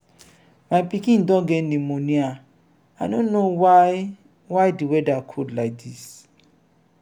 my pikin don get pneumonia. i no know why why the weather cold like dis